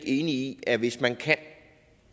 i at hvis man kan